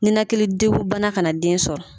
Ninakili degu bana kana den sɔrɔ.